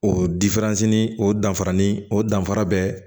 O o danfara ni o danfara bɛ